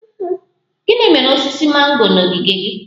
Gịnị mere osisi mango na ogige gị?